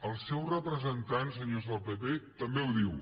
el seu representant senyors del pp també ho diu